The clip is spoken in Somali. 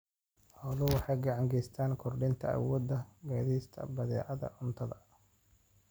Xooluhu waxay gacan ka geystaan ????kordhinta awoodda qaadista badeecadaha cuntada.